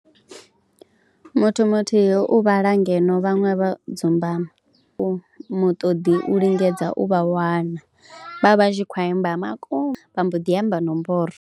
Muthu muthihi u vhala ngeno vhaṅwe vha dzumbama, muṱoḓo u lingedza u vha wana, vha vha tshi khou imba vha mbo ḓi amba nomboro.